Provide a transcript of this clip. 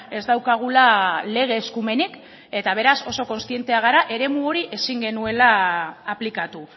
ez daukagula lege eskumenik eta beraz oso kontzienteak gara eremu hori ezin genuela aplikatu